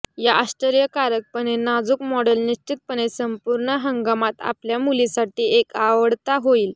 या आश्चर्यकारकपणे नाजूक मॉडेल निश्चितपणे संपूर्ण हंगामात आपल्या मुलीसाठी एक आवडता होईल